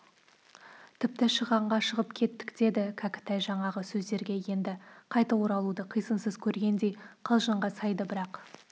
тіпті шығанға шығып кеттік деді кәкітай жаңағы сөздерге енді қайта оралуды қисынсыз көргендей қалжыңға сайды бірақ